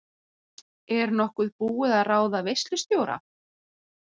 Er nokkuð búið að ráða veislustjóra?